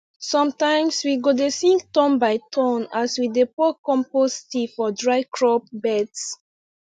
sometimes we go dey sing turn by turn as we dey pour compost tea for dry crop beds